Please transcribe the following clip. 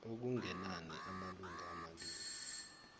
okungenani amalunga amabili